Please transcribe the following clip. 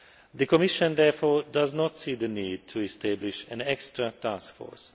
The Commission, therefore, does not see the need to establish an extra taskforce.